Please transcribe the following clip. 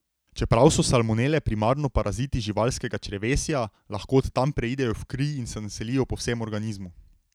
Čeprav so salmonele primarno paraziti živalskega črevesja, lahko od tam preidejo v kri in se naselijo po vsem organizmu.